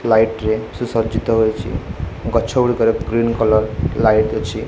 Light ରେ ସୁ ସଜ୍ଜିତ ହୋଇଛି ଗଛ ଗୁଡ଼ିକରେ ଗ୍ରୀନ କଲର୍ ଲାଇଟ୍ ଅଛି।